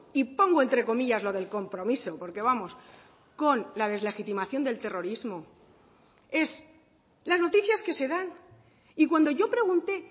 y pongo entre comillas lo del compromiso porque vamos con la deslegitimación del terrorismo es las noticias que se dan y cuando yo pregunté